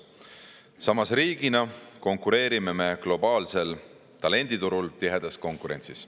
Samas, riigina konkureerime me globaalsel talenditurul tihedas konkurentsis.